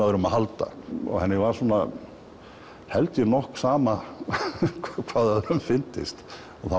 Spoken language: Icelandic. öðrum að halda henni var held ég nokk sama hvað öðrum fyndist og það